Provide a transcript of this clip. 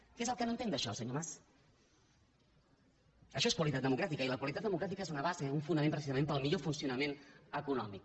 què és el que no entén d’això senyor mas això és qualitat democràtica i la qualitat democràtica és una base un fonament precisament per al millor funcionament econòmic